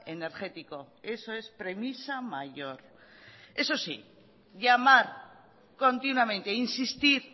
energético eso es premisa mayor eso sí llamar continuamente insistir